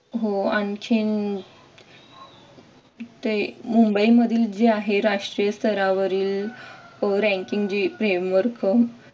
हो आणखीन ते मुंबईमधील जे आहे राष्ट्रीय स्तरावरील ranking जी framework